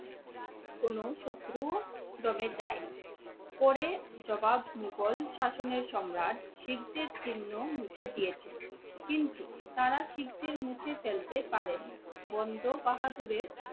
কোনো শত্রু যদি চাই মোঘল শাসনের সম্রাট শিখদের চিহ্ন মুছে দিয়েছিলো কিন্তু তারা শিখদের মুছে ফেলতে পারেনি।